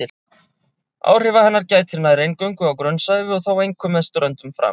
Áhrifa hennar gætir nær eingöngu á grunnsævi og þá einkum með ströndum fram.